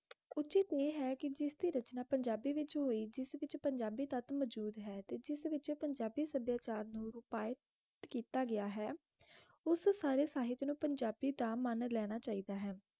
ਆਏ ਹੈ ਕ ਜਿਸ ਦੀ ਰਚਨਾ ਪੰਜਾਬੀ ਵਿਚ ਹੋਏ ਜਿਸ ਵਿਚ ਪੰਜਾਬੀ ਟੁੱਟ ਮੋਜੋੜ ਹੈ ਤੇ ਜਿਸ ਵਿਚ ਪੰਜਾਬੀ ਸਾਡੀਅਛ੍ਰ ਨੋ ਰੋਪਾਈਤ ਕੀਤਾ ਗਯਾ ਹੈ ਉਸ ਸਾਰੇ ਸਾਹਿਤ ਨੋ ਪੰਜਾਬੀ ਦਾ ਮੁਨ ਲੈਣਾ ਚਾਹੇ ਦਾ ਆਏ